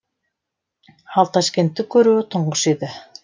ал ташкентті көруі тұңғыш еді